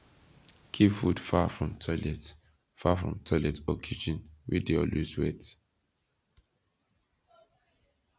keep food far from toilet far from toilet or kitchen wey dey always wet